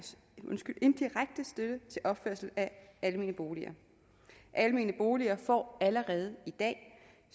støtte til opførelse af almene boliger almene boliger får allerede i dag